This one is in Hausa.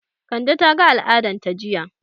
Kande ta ga al'adan ta jiya